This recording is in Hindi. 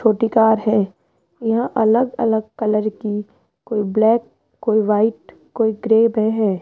छोटी कार है यह अलग अलग कलर की कोई ब्लैक कोई व्हाइट कोई ग्रे में है।